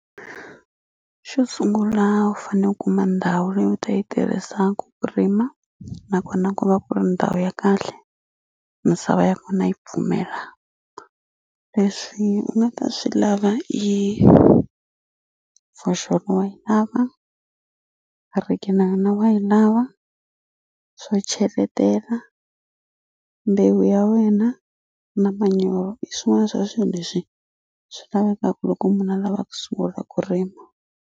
Xo sungula u fane u kuma ndhawu leyi u ta yi tirhisaku ku rima nakona ku va ku ri ndhawu ya kahle misava ya kona yi pfumela leswi u nga ta swi lava i foxolo wa yi lava hariki na yona wa yi lava swo cheletela mbewu ya wena na manyoro hi swin'wana swa swi leswi swi lavekaku loko munhu a lava ku sungula ku rima.